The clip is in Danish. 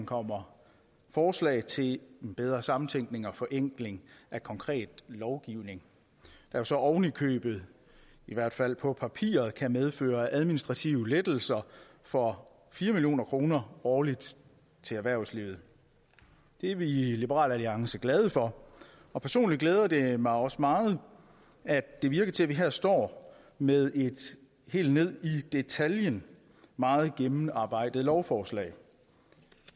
kommer forslag til en bedre samtænkning og forenkling af konkret lovgivning der så oven i købet i hvert fald på papiret kan medføre administrative lettelser for fire million kroner årligt til erhvervslivet det er vi i liberal alliance glade for og personligt glæder det mig også meget at det virker til at vi her står med et helt ned i detaljen meget gennemarbejdet lovforslag